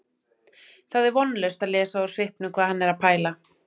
Það er vonlaust að lesa úr svipnum hvað hann er að pæla